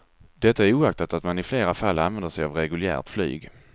Detta oaktat att man i flera fall använder sig av reguljärt flyg.